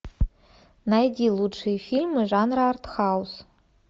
найди лучшие фильмы жанра артхаус